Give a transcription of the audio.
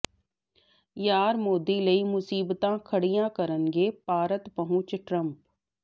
ਯਾਰ ਮੋਦੀ ਲਈ ਮੁਸੀਬਤਾਂ ਖੜ੍ਹੀਆਂ ਕਰਨਗੇ ਭਾਰਤ ਪਹੁੰਚ ਟਰੰਪ